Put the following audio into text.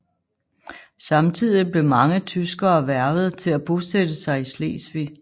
Samtidig blev mange tyskere hvervet til at bosætte sig i Slesvig